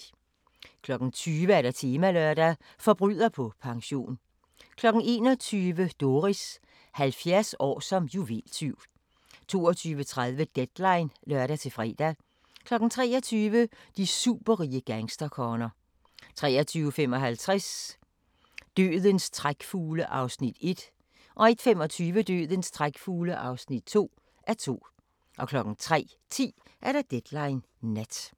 20:00: Temalørdag: Forbryder på pension 21:00: Doris – 70 år som juveltyv 22:30: Deadline (lør-fre) 23:00: De superrige gangsterkonger 23:55: Dødens trækfugle (1:2) 01:25: Dødens trækfugle (2:2) 03:10: Deadline Nat